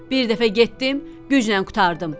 Bir dəfə getdim, güclə qurtardım.